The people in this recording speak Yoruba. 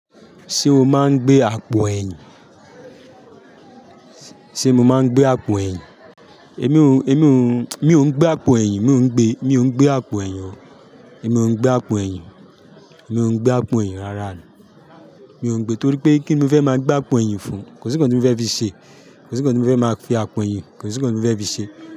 Ṣé o máa ń gbé àpò ẹ̀yìn? Ṣé mọ máa ń gbé àpò ẹ̀yìn? Èmi ò ń, èmi ò ń, mi ò ń gbé àpò ẹ̀yìn, mi ò ń gbé, mi ò ń gbé àpò ẹ̀yìn, èmi ò ń gbé àpò ẹ̀yìn, èmi ò ń gbé àpò ẹ̀yìn rárá. Mi ò ń gbé torí pé kíní mọ fẹ́ máa gbé àpò ẹ̀yìn fún? Kò sí nkan tí mo fẹ́ fi ṣe, kò sí nkan tí mo fẹ́ máa fi àpò ẹ̀yìn, kò sí nkan mọ fẹ́ fi ṣe.